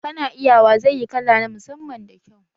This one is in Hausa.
Kana iya wa zai yi kala na musamman da kyau